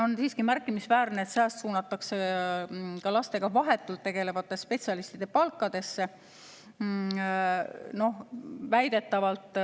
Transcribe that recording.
On siiski märkimisväärne, et sääst suunatakse lastega vahetult tegelevate spetsialistide palkadesse väidetavalt.